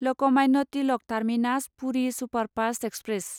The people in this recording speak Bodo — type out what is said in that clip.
Lokmanya Tilak terminus Puri superfast express